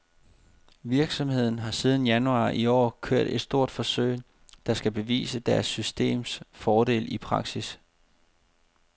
Virksomheden har siden januar i år kørt et stort forsøg, der skal bevise deres systems fordele i praksis.